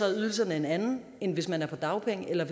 ydelsen en anden end hvis man er på dagpenge eller